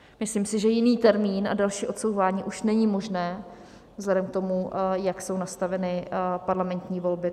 Myslím si, že jiný termín a další odsouvání už není možné vzhledem k tomu, jak jsou nastaveny parlamentní volby.